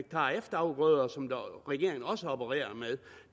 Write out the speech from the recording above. efterafgrøder som regeringen også har opereret med